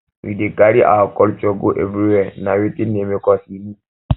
we dey carry our culture go everywhere na wetin dey make us unique